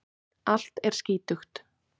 Allt er skítugt.